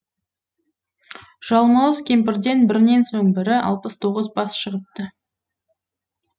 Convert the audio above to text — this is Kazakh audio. жалмауыз кемпірден бірінен соң бірі алпыс тоғыз бас шығыпты